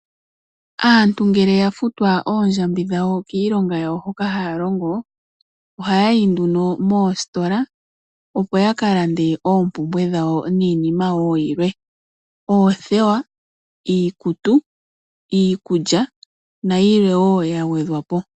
Aantu ngele yafutwa oondjambi dhawo kiilonga yawo hoka haya longo ohaya yi nduno moositola opo ya kalande oompumbwe dhawo niinima wo yilwe ngaashi oothewa, iikutu, iikulya nayilwe wo yagwedhwa.